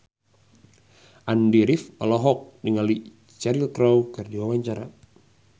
Andy rif olohok ningali Cheryl Crow keur diwawancara